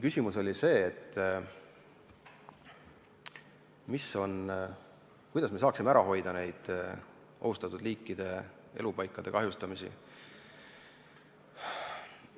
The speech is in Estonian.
Küsimus oli selles, kuidas me saaksime ära hoida ohustatud liikide elupaikade kahjustamist.